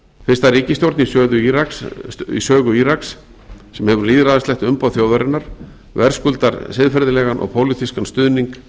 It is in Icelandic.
fyrsta ríkisstjórn í sögu íraks sem hefur lýðræðislegt umboð þjóðarinnar verðskuldar siðferðilegan og pólitískan stuðning